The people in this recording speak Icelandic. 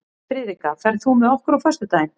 Friðrikka, ferð þú með okkur á föstudaginn?